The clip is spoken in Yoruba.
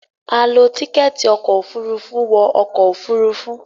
a ló Tíkẹ́ẹ̀tì ọkọ̀ òfurufú wọ ọkọ̀ òfurufú.